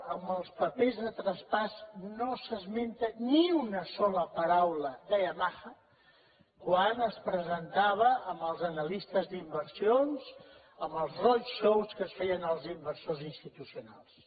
en els papers de traspàs no s’esmenta ni una sola paraula de yamaha quan es presentava als analistes d’inversions en els roadshowsals inversors institucionals